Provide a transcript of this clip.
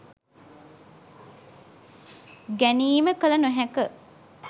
ගැනීම කළ නොහැක